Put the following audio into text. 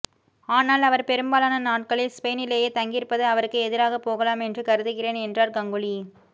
ஆனால் அவர் பெரும்பாலான நாட்களில் ஸ்பெயினிலேயே தங்கியிருப்பது அவருக்கு எதிராக போகலாம் என்று கருதுகிறேன் என்றார் கங்குலி